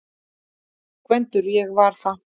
GVENDUR: Ég var það!